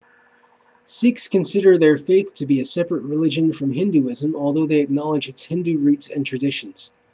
sikhs consider their faith to be a separate religion from hinduism though they acknowledge its hindu roots and traditions